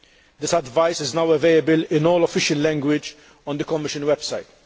This advice is now available in all official languages on the Commission website.